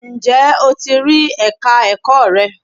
Ǹjẹ́ o ti rí Ẹ̀ka ẹ̀kọ́ rẹ?